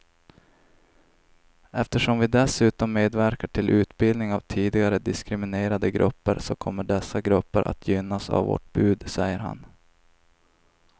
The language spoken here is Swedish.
Eftersom vi dessutom medverkar till utbildning av tidigare diskriminerade grupper så kommer dessa grupper att gynnas av vårt bud, säger han.